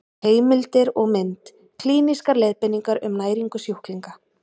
Heimildir og mynd: Klínískar leiðbeiningar um næringu sjúklinga.